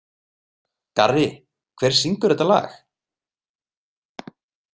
Garri, hver syngur þetta lag?